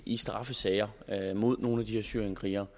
i straffesager mod nogle af de her syrienskrigere